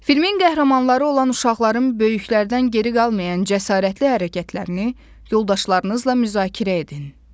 Filmin qəhrəmanları olan uşaqların böyüklərdən geri qalmayan cəsarətli hərəkətlərini yoldaşlarınızla müzakirə edin.